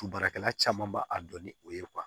Tu baarakɛla caman ba a dɔn ni o ye